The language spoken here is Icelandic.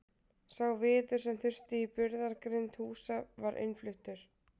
Sá viður sem þurfti í burðargrind húsa var innfluttur.